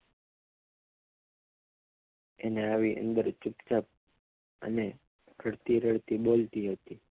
અને અંદર આવી ચૂપચાપ અને રડતી રડતી બોલતી હતી